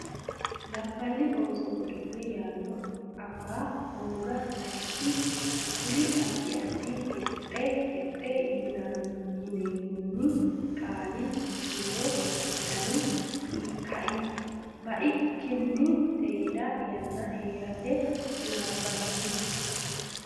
Labballi Ooso Godo le yanna afa hooga sayikkiti kuri addi addi Haxe haxe yinoommenni qaali kiiro doni baikkinni seeda yanna hee rate Labballi.